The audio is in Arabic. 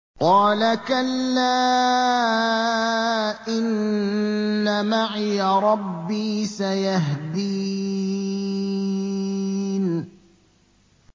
قَالَ كَلَّا ۖ إِنَّ مَعِيَ رَبِّي سَيَهْدِينِ